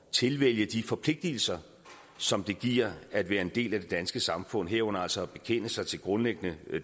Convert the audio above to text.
tilvælge de forpligtelser som det giver at være en del af det danske samfund herunder altså at bekende sig til grundlæggende